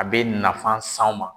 A bɛ nafan s'anw ma.